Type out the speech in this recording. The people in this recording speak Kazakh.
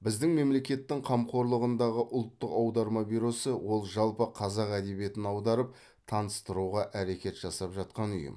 біздің мемлекеттің қамқорлығындағы ұлттық аударма бюросы ол жалпы қазақ әдебиетін аударып таныстыруға әрекет жасап жатқан ұйым